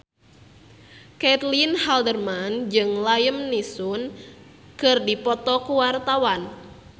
Caitlin Halderman jeung Liam Neeson keur dipoto ku wartawan